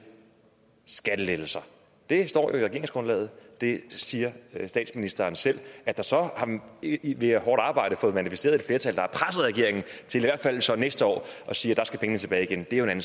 skattelettelser det står i regeringsgrundlaget og det siger statsministeren selv at der så via hårdt arbejde er manifesteret et flertal der regeringen til i hvert fald så næste år at sige at der skal pengene tilbage igen er jo en